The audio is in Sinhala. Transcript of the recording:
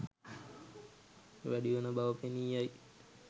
වැඩිවන බව පෙනී යයි.